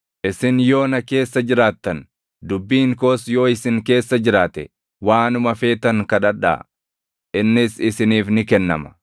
Isin yoo na keessa jiraattan, dubbiin koos yoo isin keessa jiraate, waanuma feetan kadhadhaa; innis isiniif ni kennama.